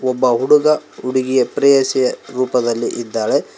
ಒಬ್ಬ ಹುಡುಗ ಹುಡುಗಿಯ ಪ್ರೇಯಸಿಯ ರೂಪದಲ್ಲಿ ಇದ್ದಾಳೆ.